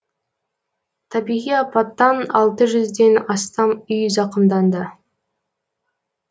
табиғи апаттан алты жүзден астам үй зақымданды